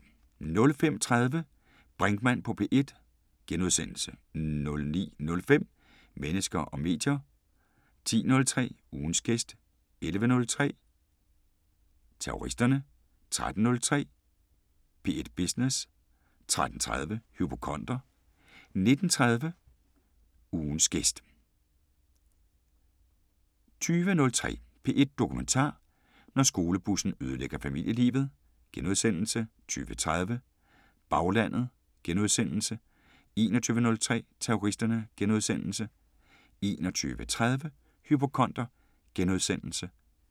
05:30: Brinkmann på P1 * 09:05: Mennesker og medier 10:03: Ugens gæst 11:03: Terroristerne 13:03: P1 Business 13:30: Hypokonder 19:03: Ugens gæst * 20:03: P1 Dokumentar: Når skolebussen ødelægger familielivet * 20:30: Baglandet * 21:03: Terroristerne *